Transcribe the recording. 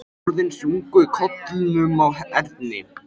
Orðin sungu í kollinum á Erni.